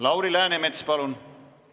Lauri Läänemets, palun!